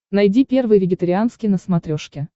найди первый вегетарианский на смотрешке